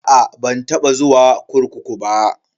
A'a ban taba zuwa kurkuku ba.